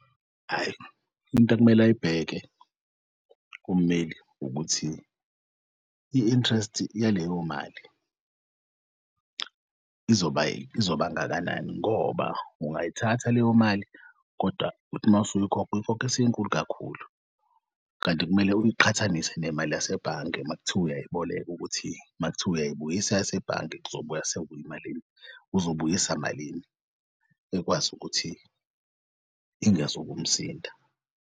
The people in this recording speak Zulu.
Hhayi, into ekumele ayibheke kummeli ukuthi i-interest yaleyo mali izoba ngakanani ngoba ungayithatha leyo mali kodwa uthi masuyikhokha uyikhokhe isinkulu kakhulu, kanti kumele uyiqhathanise nemali yasebhange makuthiwa uyayiboleka ukuthi makuthiwa uyayibuyisa yasebhange kuzobuya sekuyimalini, uzobuyisa malini ekwazi ukuthi ingezukumsinda.